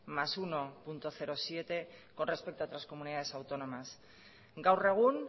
más uno punto siete con respecto a otras comunidades autónomas gaur egun